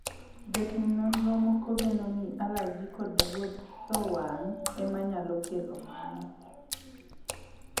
jotim nonro moko geno ni alaji kod rudho wang' ema nyalo kelo mano